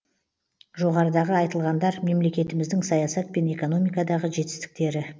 жоғарыдағы айтылғандар мемлекетіміздің саясат пен экономикадағы жетістіктері